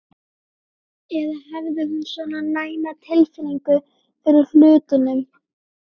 Eða hafði hún svona næma tilfinningu fyrir hlutunum?